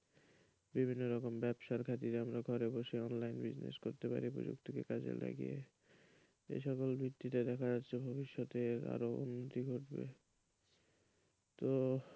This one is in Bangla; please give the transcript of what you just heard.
বিভিন্ন রকম ব্যবসার খাতিরে আমরা ঘরে বসে online business করতে পারি প্রযুক্তিকে কাজে লাগিয়ে এসকল ভিত্তিতে দেখা যাচ্ছে ভবিষ্যতে আরও উন্নতি ঘটবে তো?